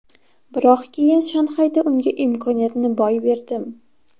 Biroq keyin Shanxayda unga imkoniyatni boy berdim.